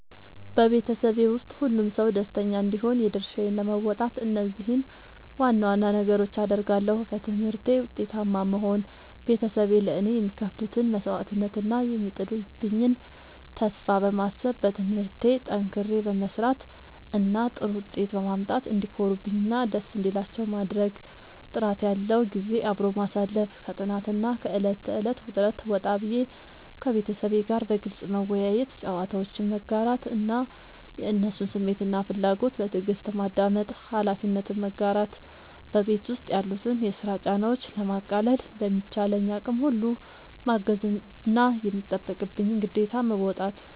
በቤተሰቤ ውስጥ ሁሉም ሰው ደስተኛ እንዲሆን የድርሻዬን ለመወጣት እነዚህን ዋና ዋና ነገሮች አደርጋለሁ፦ በትምህርቴ ውጤታማ መሆን፦ ቤተሰቤ ለእኔ የሚከፍሉትን መስዋዕትነት እና የሚጥሉብኝን ተስፋ በማሰብ፣ በትምህርቴ ጠንክሬ በመስራት እና ጥሩ ውጤት በማምጣት እንዲኮሩብኝ እና ደስ እንዲላቸው ማድረግ። ጥራት ያለው ጊዜ አብሮ ማሳለፍ፦ ከጥናትና ከዕለት ተዕለት ውጥረት ወጣ ብዬ፣ ከቤተሰቤ ጋር በግልጽ መወያየት፣ ጨዋታዎችን መጋራት እና የእነሱን ስሜትና ፍላጎት በትዕግስት ማዳመጥ። ኃላፊነትን መጋራት፦ በቤት ውስጥ ያሉትን የስራ ጫናዎች ለማቃለል በሚቻለኝ አቅም ሁሉ ማገዝና የሚጠበቅብኝን ግዴታ መወጣት።